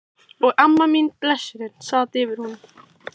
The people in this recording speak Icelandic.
Og amma mín, blessunin, sat yfir honum.